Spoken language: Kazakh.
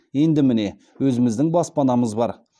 енді міне өзіміздің баспанамыз бар